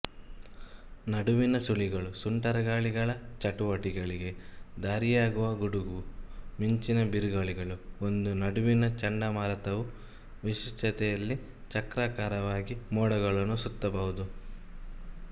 ನಡುವಿನ ಸುಳಿಗಳು ಸುಂಟರಗಾಳಿಗಳ ಚಟುವಟಿಕೆಗಳಿಗೆ ದಾರಿಯಾಗುವ ಗುಡುಗು ಮಿಂಚಿನ ಬಿರುಗಾಳಿಗಳು ಒಂದು ನಡುವಿನ ಚಂಡಮಾರುತವು ವಿಶಿಷ್ಟತೆಯಲ್ಲಿ ಚಕ್ರಾಕಾರವಾಗಿ ಮೋಡಗಳನ್ನು ಸುತ್ತಬಹುದು